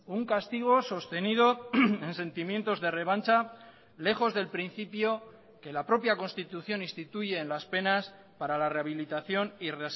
un castigo sostenido en sentimientos de revancha lejos del principio que la propia constitución instituye en las penas para la rehabilitación y